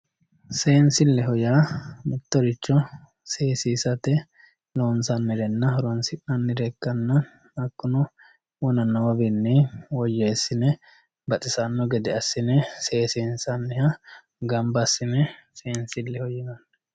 Seensileho yaa mittoricho seesisate loonsannirenna horonsi'nannire ikkanna hakkuno wona noowinni woyyeesine baxisano gede assine seesissanni gamba assine seensileho yinnanni.